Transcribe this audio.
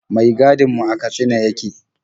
Mai gadin mu daga Katsina yake.